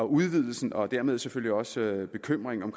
udvidelsen og dermed selvfølgelig også bekymringen